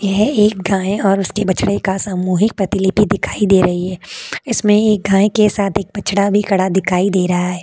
यह एक गाय और उसके बछड़े का सामूहिक प्रतिलिपि दिखाई दे रही है। इसमें एक गाय के साथ एक बछड़ा भी खड़ा दिखाई दे रहा है।